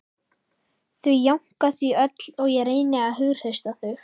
Þau jánka því öll og ég reyni að hughreysta þau